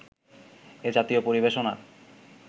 এ-জাতীয় পরিবেশনার